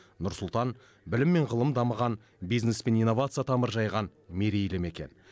нұр сұлтан білім мен ғылым дамыған бизнес пен инновация тамыр жайған мерейлі мекен